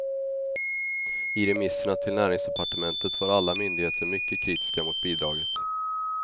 I remisserna till näringsdepartementet var alla myndigheter mycket kritiska mot bidraget.